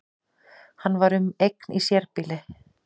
Hann var um eign í sérbýli